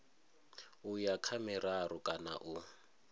uya kha miraru kana u